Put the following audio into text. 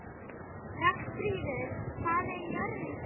Ragnfríður, hvað er jörðin stór?